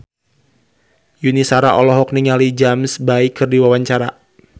Yuni Shara olohok ningali James Bay keur diwawancara